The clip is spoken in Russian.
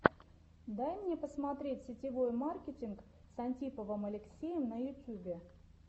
дай мне посмотреть сетевой маркетинг с антиповым алексеем на ютюбе